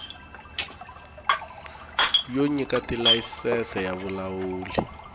yo nyika tilayisense ya vulawuli